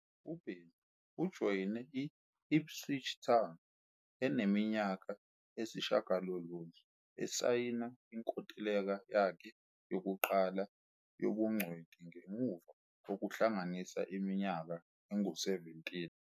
UBenyu ujoyine i- Ipswich Town eneminyaka eyisishiyagalolunye, esayina inkontileka yakhe yokuqala yobungcweti ngemuva kokuhlanganisa iminyaka engu-17.